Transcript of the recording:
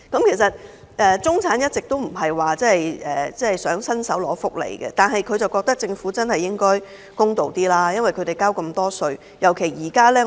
其實，中產一直都不想伸手拿福利，但他們覺得政府應該公道一點，因為他們交稅很多。